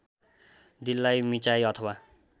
दिलाई मिच्चाइ अथवा